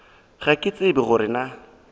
ga ke tsebe gore na